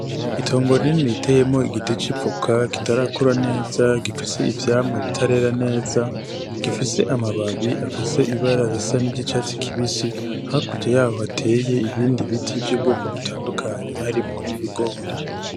Itongo rinini riteyemwo igiti c'ivoka kitarakura neza gifise ivyamwa bitarera neza gifise amababi afise ibara risa niry'icatsi kibisi, hakurya yaho hateye ibindi biti vy'ubwoko butandukanye harimwo n'ibigori.